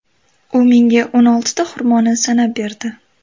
U menga o‘n oltita xurmoni sanab berdi.